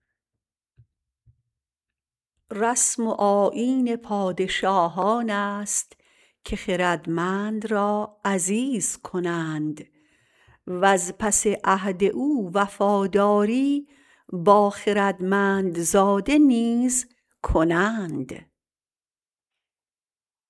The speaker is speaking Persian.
رسم و آیین پادشاهانست که خردمند را عزیز کنند وز پس عهد او وفاداری با خردمندزاده نیز کنند